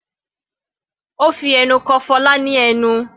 Ó fi ẹnu ko Fola ní ẹnu.